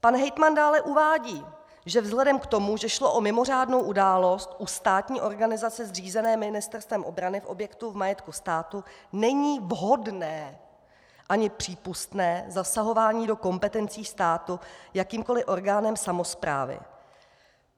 Pan hejtman dále uvádí, že vzhledem k tomu, že šlo o mimořádnou událost u státní organizace zřízené Ministerstvem obrany v objektu v majetku státu, není vhodné ani přípustné zasahování do kompetencí státu jakýmkoli orgánem samosprávy.